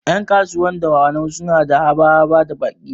Ƴan kasuwar dawanau suna da haba-haba da baƙi